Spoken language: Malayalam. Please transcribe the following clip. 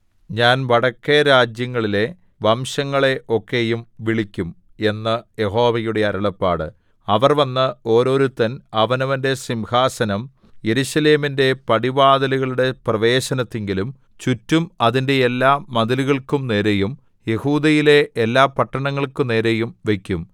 ഞാൻ വടക്കെ രാജ്യങ്ങളിലെ വംശങ്ങളെ ഒക്കെയും വിളിക്കും എന്ന് യഹോവയുടെ അരുളപ്പാട് അവർ വന്ന് ഓരോരുത്തൻ അവനവന്റെ സിംഹാസനം യെരൂശലേമിന്റെ പടിവാതിലുകളുടെ പ്രവേശനത്തിങ്കലും ചുറ്റും അതിന്റെ എല്ലാ മതിലുകൾക്കു നേരെയും യെഹൂദയിലെ എല്ലാപട്ടണങ്ങൾക്കു നേരെയും വയ്ക്കും